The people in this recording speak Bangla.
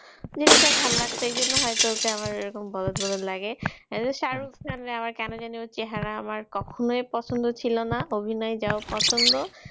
জিনিসটা ভালো লাগছে এই জন্য হয়তো ওকে আমার এরকম বলদ বলদ লাগে। শাহরুখ খান রে আমার কেন জানি আমার ওর চেহারা আমার কখনোই পছন্দ ছিল না। অভিনয় যাহোক পছন্দ,